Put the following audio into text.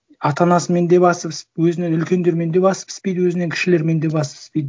ата анасымен де басы пісіп өзінен үлкендермен де басы піспейді өзінен кішілермен де басы піспейді